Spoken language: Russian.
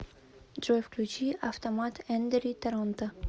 джой включи автомат эндери торонто